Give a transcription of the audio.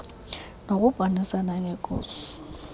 nokubonisana nee ngos